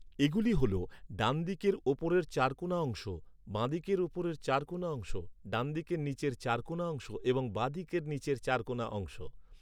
এগুলি হল, ডানদিকের উপরের চারকোণা অংশ, বাঁদিকের উপরের চারকোণা অংশ, ডানদিকের নীচের চারকোণা অংশ এবং বাঁদিকের নীচের চারকোণা অংশ।